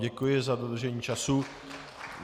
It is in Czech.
Děkuji za dodržení času.